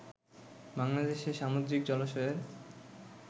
বাংলাদেশে সামুদ্রিক জলাশয়ের